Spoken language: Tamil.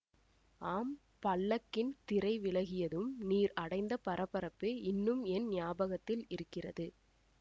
ஆம் பல்லக்கின் திரை விலகியதும் நீர் அடைந்த பரபரப்பு இன்னும் என் ஞாபகத்தில் இருக்கிறது